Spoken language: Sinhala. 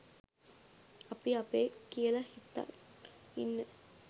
අපි අපේ කියල හිතන් ඉන්න